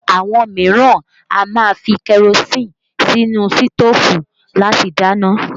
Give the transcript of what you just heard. Àwọn mìíràn a máa fi kerosinni sí inú sitofu láti dáná